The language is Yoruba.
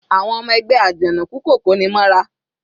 Àwọn ọmọ ẹgbẹ́ Ajanoku kò koni mọ́ra.